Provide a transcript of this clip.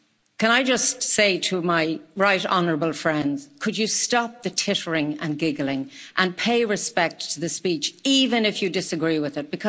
Can I just say to my right Honourable friends could you stop the tittering and giggling and pay respect to the speech, even if you disagree with it?